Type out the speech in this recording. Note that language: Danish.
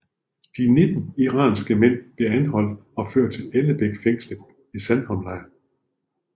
De 19 irakiske mænd blev anholdt og ført til Ellebæk fængslet i Sandholmlejren